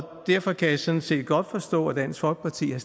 derfor kan jeg sådan set godt forstå at dansk folkeparti har